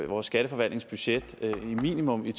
vores skatteforvaltnings budget minimum i